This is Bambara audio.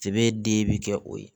Sɛbɛ den bi kɛ o ye